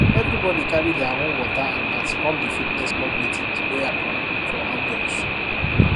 everybody carry dia own water and mat come di fitness club meeting wey happen for outdoors